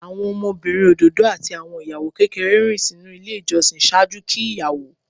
Awọn ọmọbirin ododo ati awọn iyawo kekere rin sinu ile ijọsin ṣaaju ki iyawo.